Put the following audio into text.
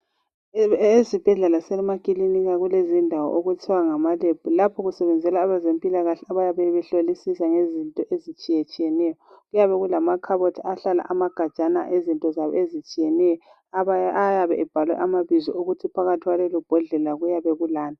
Ezibhedlela lasemakilinika kulezindawo okuthwa ngamaLab. Lapho kusebenzela abezempilakahle abayabe behlolisisa ngezinto ezitshiyetshiyeneyo. Kuyabe kulamakhabothi ahlala amagajana ahlala izinto zabo ezitshiyeneyo ayabe ebhalwe amabizo ukuthi phakathi kwalelobhodlela kuyabe kulani.